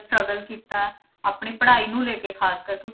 Struggle ਕੀਤਾ, ਆਪਣੀ ਪੜ੍ਹਾਈ ਨੂੰ ਲੈ ਕੇ ਖ਼ਾਸ ਕਰਕੇ